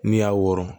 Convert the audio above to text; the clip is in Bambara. N'i y'a wɔrɔ